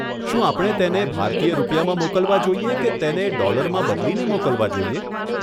શું આપણે તેણે ભારતીય રૂપિયામાં મોકલવા જોઈએ કે તેણે ડોલરમાં બદલીને મોકલવા જોઈએ?